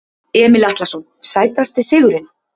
Emil Atlason Sætasti sigurinn?